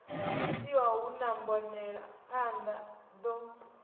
itiwa hu na mbonelaphanḓa ḓo